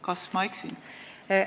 " Kas ma eksin?